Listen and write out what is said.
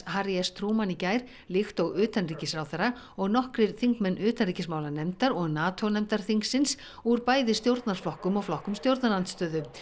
Harry s Truman í gær líkt og utanríkisráðherra og nokkrir þingmenn utanríkismálanefndar og Nató nefndar þingsins úr bæði stjórnarflokkum og flokkum stjórnarandstöðu